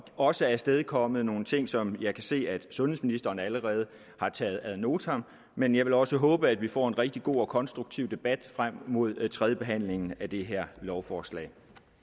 også afstedkommet nogle ting som jeg kan se at sundhedsministeren allerede har taget ad notam men jeg vil også håbe at vi får en rigtig god og konstruktiv debat frem mod tredjebehandlingen af det her lovforslag